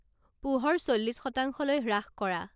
পোহৰ চল্লিশ শতাংশলৈ হ্ৰাস কৰা